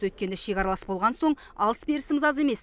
өйткені шекаралас болған соң алыс берісіміз аз емес